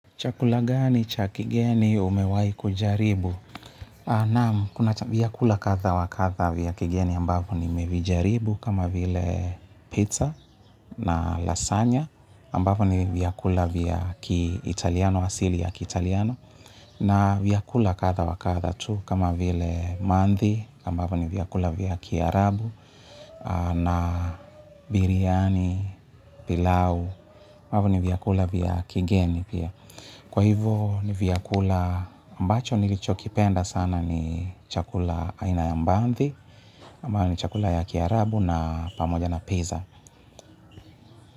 Chakula gani, cha kigeni, umewai kujaribu? Naam, kuna vyakula kahda wakahda vya kigeni ambavyo ni mevijaribu kama vile pizza na lasanya ambavyo ni viyakula vya kiitaliano, asili ya kiitaliano. Na vyakula kadha wakadha tu kama vile maadhi ambavyo ni vyakula vya kiarabu na biriani, pilau, ambavyo ni vyakula vya kigeni pia. Kwa hivo ni vyakula ambacho nilicho kipenda sana ni chakula aina ya mbandhi ambayo ni chakula ya kiarabu na pamoja na peza.